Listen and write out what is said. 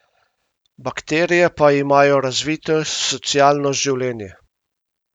Bakterije pa imajo razvito socialno življenje.